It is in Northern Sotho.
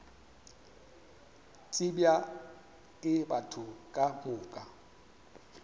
tsebja ke batho ka moka